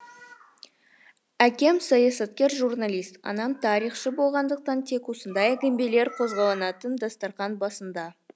әкем саясаткер журналист анам тарихшы болғандықтан тек осындай әңгімелер қозғалатын дастархан басында